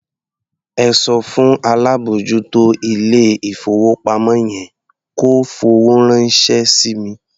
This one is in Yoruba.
Ẹ sọ fún alábòójútó ilé-ìfowópamọ́ yẹn kó fowó ránṣẹ́ sí mi.